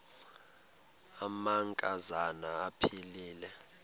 amanka zana aphilele